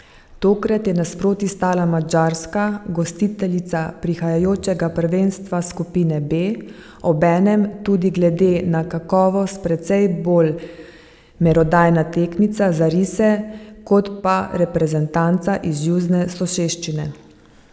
Tokrat je nasproti stala Madžarska, gostiteljica prihajajočega prvenstva skupine B, obenem tudi glede na kakovost precej bolj merodajna tekmica za rise kot pa reprezentanca iz južne soseščine.